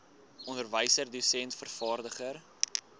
onderwyser dosent vervaardiger